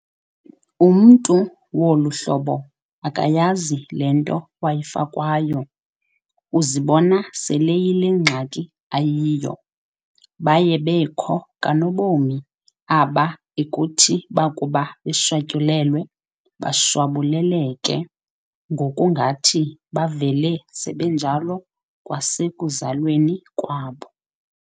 Umntu wolu hlobo akayazi le nto wayifakwayo, uzibona sel'eyile ngxaki ayiyo. Baye bekho kanobomi aba ekuthi bakuba beshwatyulelwe bashwabuleleke, ngokungathi bavele sebenjalo kwasekuzalweni kwabo.